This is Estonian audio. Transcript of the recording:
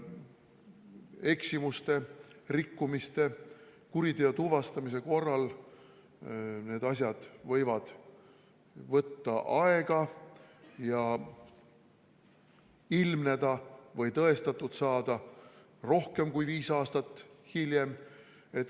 Eksimuste, rikkumiste, kuriteo tuvastamise korral võivad need asjad võtta aega ja ilmneda või tõestatud saada rohkem kui viis aastat hiljem.